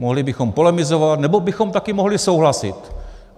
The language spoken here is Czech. Mohli bychom polemizovat, nebo bychom také mohli souhlasit.